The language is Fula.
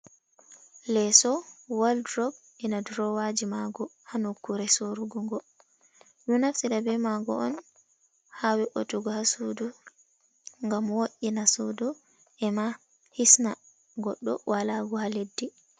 Leeso, waldrob ena durowaji maa'ngo ha nukure sooru'ngo'ngo. Ɓe ɗo naftira be maa'ngo un ha wei'utugo ha suudu ngam wo’itina suudu ema hisna goɗɗo walagu ha leddi.